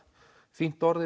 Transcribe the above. fínt orð